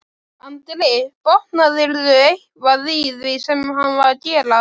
Andri: Botnaðirðu eitthvað í því sem hann var að gera?